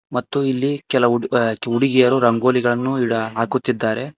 ಮತ್ತು ಇಲ್ಲಿ ಕೆಲವು ಹುಡು ಹುಡುಗಿಯರು ರಂಗೋಲಿಗಳನ್ನು ಇಡ ಹಾಕುತ್ತಿದ್ದಾರೆ.